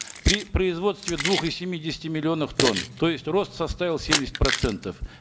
при производстве двух и семидесяти миллионов тонн то есть рост составил семьдесят процентов